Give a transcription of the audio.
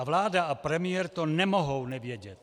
A vláda a premiér to nemohou nevědět.